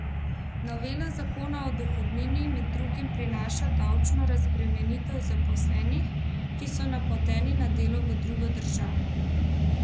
Novela zakona o dohodnini med drugim prinaša davčno razbremenitev zaposlenih, ki so napoteni na delo v drugo državo.